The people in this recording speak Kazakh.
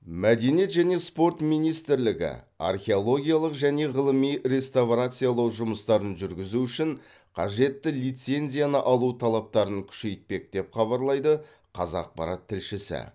мәдениет және спорт министрлігі археологиялық және ғылыми реставрациялау жұмыстарын жүргізу үшін қажетті лицензияны алу талаптарын күшейтпек деп хабарлайды қазақпарат тілшісі